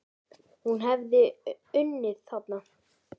En hún hefði unnið þarna.